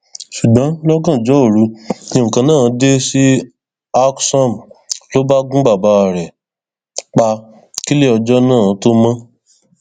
ṣùgbọn lọgànjọ òru ni nǹkan náà dé sí alksom ló bá gun bàbá rẹ pa kílẹ ọjọ náà tóo mọ